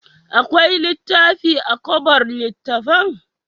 Akwai littafi a kobar littattafan?